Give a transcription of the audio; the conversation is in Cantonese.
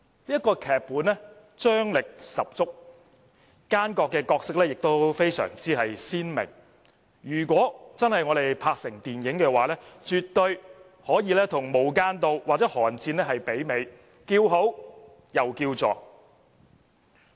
這部劇本張力十足，奸角的角色非常鮮明，如果真的拍攝成電影，絕對可以媲美"無間道"或"寒戰"，叫好又叫座。